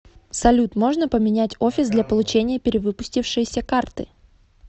салют можно поменять офис для получения перевыпустившейся карты